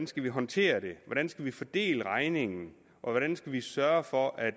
skal håndtere det hvordan skal vi fordele regningen hvordan skal vi sørge for at